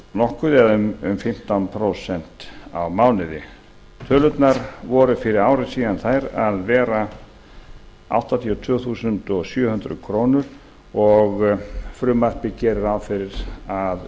nokkuð eða um fimmtán prósent á mánuði upphæðin var fyrir ári síðan áttatíu og tvö þúsund sjö hundruð krónur og frumvarpið gerir ráð fyrir að